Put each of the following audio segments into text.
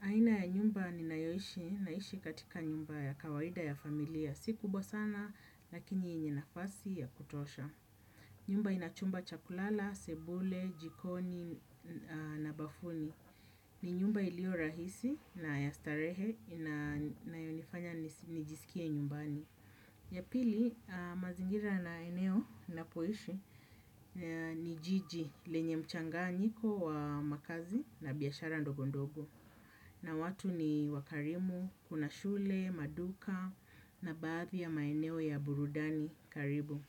Aina ya nyumba ninayoishi, naishi katika nyumba ya kawaida ya familia. Si kubwa sana, lakini yenye nafasi ya kutosha. Nyumba inachumba cha kulala, sebule, jikoni, na bafuni. Ni nyumba iliyo rahisi na ya starehe inayonifanya nijisikie nyumbani. Ya pili, mazingira na eneo napoishi ni jiji, lenye mchanganyiko wa makazi na biashara ndogo ndogo. Na watu ni wakarimu, kuna shule, maduka, na baadhi ya maeneo ya burudani karibu.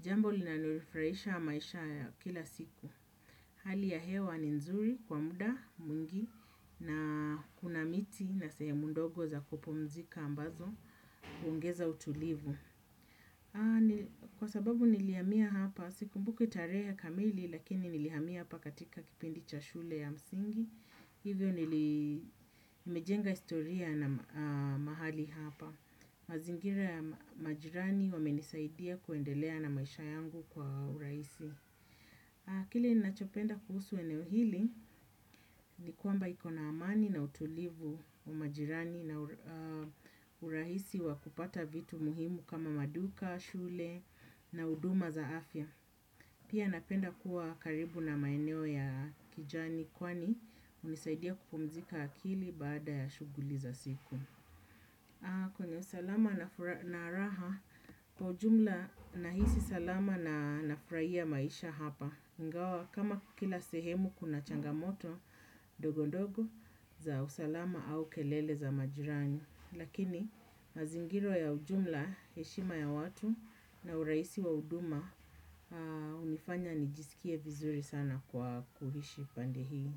Jambo linalonifurahisha maisha ya kila siku. Hali ya hewa ni nzuri kwa muda mwingi, na kuna miti na sehemu ndogo za kupumzika ambazo huongeza utulivu. Kwa sababu nilihamia hapa, sikumbuki tarehe kamili lakini nilihamia hapa katika kipindi cha shule ya msingi. Hivyo nili nimejenga historia na mahali hapa. Mazingira ya majirani wamenisaidia kuendelea na maisha yangu kwa urahisi. Kile nachopenda kuhusu eneo hili ni kwamba iko na amani na utulivu wa majirani na urahisi wa kupata vitu muhimu kama maduka, shule na huduma za afya. Pia napenda kuwa karibu na maeneo ya kijani kwani hunisaidia kupumzika akili baada ya shughuli za siku. Kwenye usalama na raha kwa ujumla nahisi salama na nafurahia maisha hapa ingawa kama kila sehemu kuna changamoto dogondogo za usalama au kelele za majiran.i. Lakini mazingira ya ujumla, heshima ya watu na urahisi wa huduma hunifanya nijisikie vizuri sana kwa kuishi pande hii.